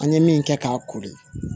An ye min kɛ k'a kori